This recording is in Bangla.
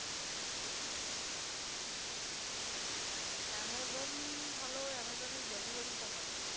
amazon ভালো amazon এর delivery টা ভালো